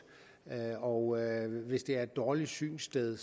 og hvis det er et dårligt synssted